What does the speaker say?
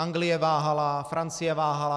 Anglie váhala, Francie váhala.